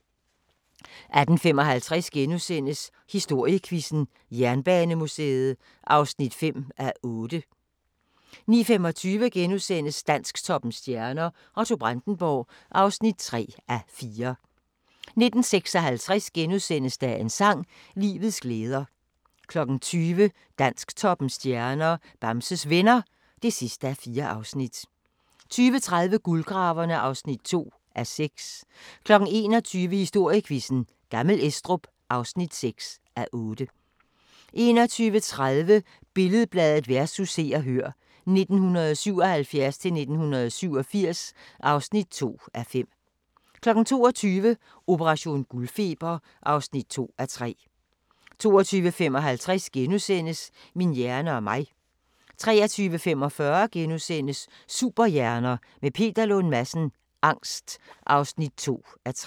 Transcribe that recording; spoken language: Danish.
18:55: Historiequizzen: Jernbanemuseet (5:8)* 19:25: Dansktoppens stjerner: Otto Brandenburg (3:4)* 19:56: Dagens sang: Livets glæder * 20:00: Dansktoppens stjerner: Bamses Venner (4:4) 20:30: Guldgraverne (2:6) 21:00: Historiequizzen: Gammel Estrup (6:8) 21:30: Billed-Bladet vs. Se og Hør (1977-1987) (2:5) 22:00: Operation guldfeber (2:3) 22:55: Min hjerne og mig * 23:45: Superhjerner – med Peter Lund Madsen: Angst (2:3)*